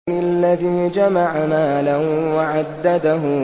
الَّذِي جَمَعَ مَالًا وَعَدَّدَهُ